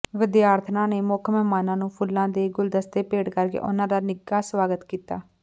ਵਿਦਿਆਰਥਣਾਂ ਨੇ ਮੁੱਖ ਮਹਿਮਾਨਾਂ ਨੂੰ ਫੁੱਲਾਂ ਦੇ ਗੁਲਦਸਤੇ ਭੇਟ ਕਰਕੇ ਉਨ੍ਹਾਂ ਦਾ ਨਿੱਘਾ ਸਵਾਗਤ ਕੀਤਾ